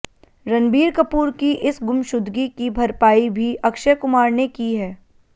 रणबीर कपूर की इस गुमशुदगी की भरपाई भी अक्षय कुमार ने की है